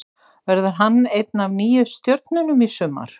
Verður hann ein af nýju stjörnunum í sumar?